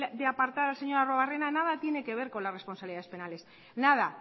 de apartar al señor arruebarrena nada tiene que ver con las responsabilidades penales nada